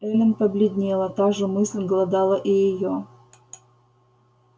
эллин побледнела та же мысль глодала и её